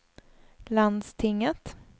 landstinget